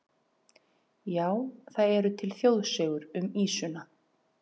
Já, það eru til þjóðsögur um ýsuna.